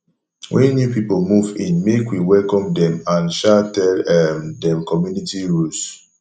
when new people move in make we welcome dem and um tell um dem community rules